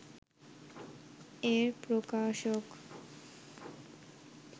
এর প্রকাশক